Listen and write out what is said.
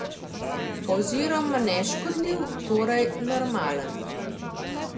Oziroma neškodljiv, torej normalen.